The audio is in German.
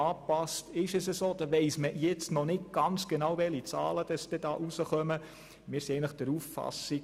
Schliesslich ist klar, dass man noch nicht genau weiss, welche Zahlen aus der Anpassung des Systems resultieren.